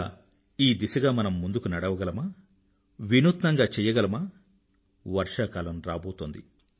ఇలా ఈ దిశగా మనం ముందుకు నడవగలమా వినూత్నంగా చెయ్యగలమా వర్షాకాలం రాబోతోంది